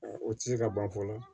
O tɛ se ka ban fɔlɔ